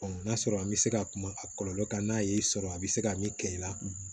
n'a sɔrɔ an bɛ se ka kuma a kɔlɔlɔ kan n'a y'i sɔrɔ a bɛ se ka min kɛ i la